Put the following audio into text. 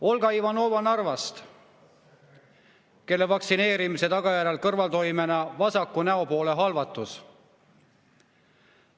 Olga Ivanoval Narvast tekkis vaktsineerimise tagajärjel kõrvaltoimena vasaku näopoole halvatus.